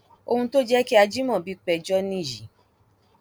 ohun tó jẹ kí ajímọbì péjọ nìyí